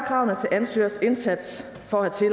kravene til ansøgers indsats for at